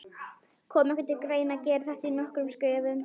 Kom ekki til greina að gera þetta í nokkrum skrefum?